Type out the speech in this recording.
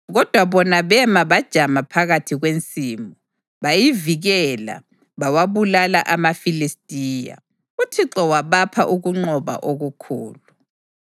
Kodwa bona bema bajama phakathi kwensimu. Bayivikela bawabulala amaFilistiya, uThixo wabapha ukunqoba okukhulu.